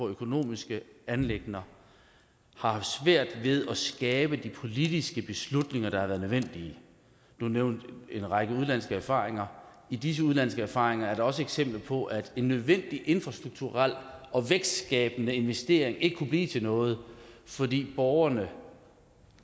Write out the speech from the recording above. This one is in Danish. økonomiske anliggender har haft svært ved at skabe de politiske beslutninger der har været nødvendige du nævnte en række udenlandske erfaringer i disse udenlandske erfaringer er der også eksempler på at en nødvendig infrastrukturel og vækstskabende investering ikke har kunnet blive til noget fordi borgerne